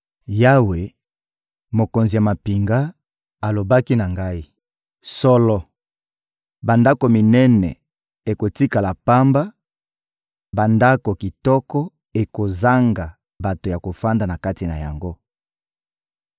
Yawe, Mokonzi ya mampinga, alobaki na ngai: «Solo, bandako minene ekotikala pamba, bandako kitoko ekozanga bato ya kovanda kati na yango.